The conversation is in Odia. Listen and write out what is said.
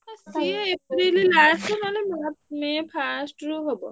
ହେ ସିଏ ଏପ୍ରିଲ last ନହେଲେ ମେ first ରୁ ହବ।